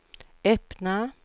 öppna